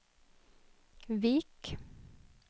Vik